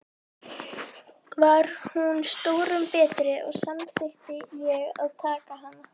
Var hún stórum betri, og samþykkti ég að taka hana.